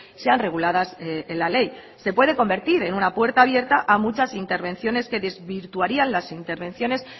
sean reguladas en la ley se puede convertir en una puerta abierta a muchas intervenciones que desvirtuarían las intervenciones